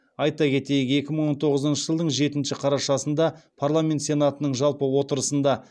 айта кетейік екі мың он тоғызыншы жылдың жетінші қарашасында парламент сенатының жалпы отырысында